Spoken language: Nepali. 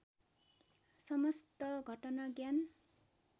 समस्त घटना ज्ञान